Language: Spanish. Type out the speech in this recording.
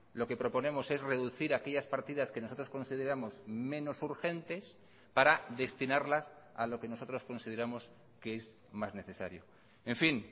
lo que proponemos es reducir aquellas partidas que nosotros consideramos menos urgentes para destinarlas a lo que nosotros consideramos que es más necesario en fin